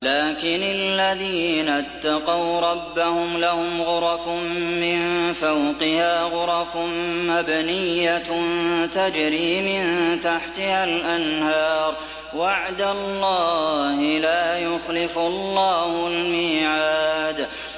لَٰكِنِ الَّذِينَ اتَّقَوْا رَبَّهُمْ لَهُمْ غُرَفٌ مِّن فَوْقِهَا غُرَفٌ مَّبْنِيَّةٌ تَجْرِي مِن تَحْتِهَا الْأَنْهَارُ ۖ وَعْدَ اللَّهِ ۖ لَا يُخْلِفُ اللَّهُ الْمِيعَادَ